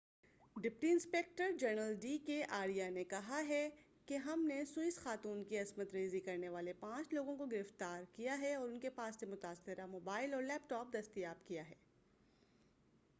deputy inspector general D K Arya نے کہا ہے کہ ہم نے سوئس خاتون کی عصمت ریزی کرنے والے پانچ لوگوں کو گرفتار ہے اور ان کے پاس سے متاثرہ کا موبائل اور لیپ ٹاپ دستیاب کیا ہے